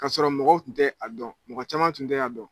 Kasɔrɔ mɔgɔw tun tɛ a dɔn, mɔgɔ caman tun tɛ a dɔn.